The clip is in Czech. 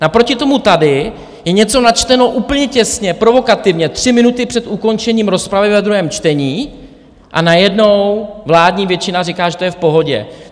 Naproti tomu tady je něco načteno úplně těsně provokativně tři minuty před ukončením rozpravy ve druhém čtení, a najednou vládní většina říká, že to je v pohodě.